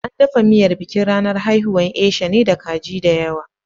An dafa miyar bikin ranar haihuwar Esha ne da kaji da yawa.